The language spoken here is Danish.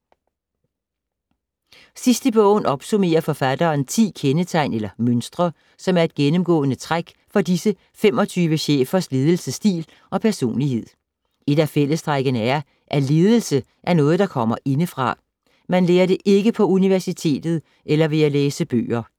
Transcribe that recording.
Sidst i bogen opsummerer forfatteren 10 kendetegn eller mønstre, som er et gennemgående træk for disse 25 chefers ledelsesstil og personlighed. Et af fællestrækkene er, at ledelse er noget der kommer indefra. Man lærer det ikke på universitetet eller ved at læse bøger.